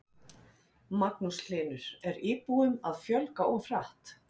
Magnús Hlynur: Er íbúum að fjölga of hratt?